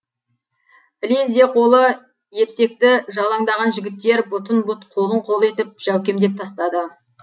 ілезде қолы епсекті жалаңдаған жігіттер бұтын бұт қолын қол етіп жәукемдеп тастады